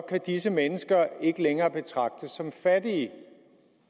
disse mennesker ikke længere betragtes som fattige